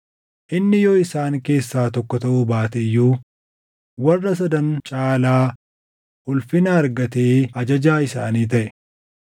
Inni yoo isaan keessaa tokko taʼuu baate iyyuu warra Sadan caalaa ulfina argatee ajajaa isaanii taʼe.